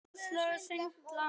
Sem og eigin líðan.